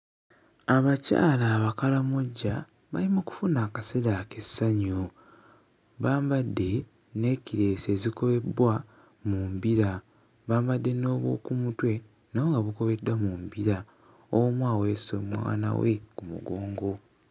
Abakyala Abakaramoja bali mu kufuna akaseera ak'essanyu bambadde nnekireesi ezikolebbwa mu mbira bambadde n'obwo ku mutwe nabwo nga bukobeddwa mu mbira omu aweese mwana we ku mugongo.